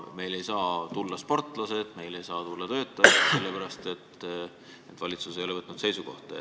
Meile ei saa tulla sportlased, meile ei saa tulla töötajad, sest valitsus ei ole võtnud seisukohta.